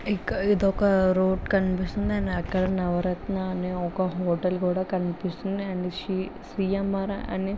ఒక ఇదొక రోడ్డు కనిపిస్తుంది అక్కడనే ఒక నవరత్నాలు హోటల్కూడా కనిపిస్తున్నాయి సీఎం అని--